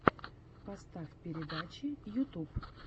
поставь передачи ютюб